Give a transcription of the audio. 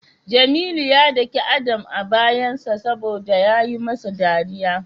Jamilu ya dake Adam a bayansa saboda yayi masa dariya.